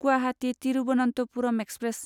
Guwahati Thiruvananthapuram express